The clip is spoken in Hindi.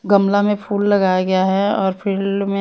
गमला में फूल लगाया गया है और फील्ड में --